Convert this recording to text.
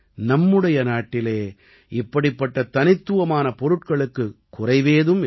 நம்முடைய நாட்டிலே இப்படிப்பட்ட தனித்துவமான பொருட்களுக்குக் குறைவேதும் இல்லை